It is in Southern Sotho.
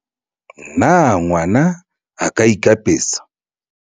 na ngwana a ka ikapesa?